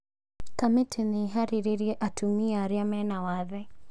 Kamitĩ nĩiharĩrĩiriee atumia aria mena wathe